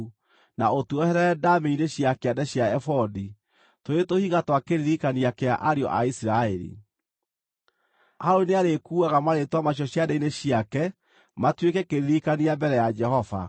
na ũtuoherere ndaamĩ-inĩ cia kĩande cia ebodi, tũrĩ tũhiga twa kĩririkania kĩa ariũ a Isiraeli. Harũni nĩarĩkuuaga marĩĩtwa macio ciande-inĩ ciake matuĩke kĩririkania mbere ya Jehova.